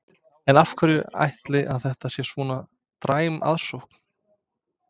En af hverju ætli að það sé svona dræm aðsókn?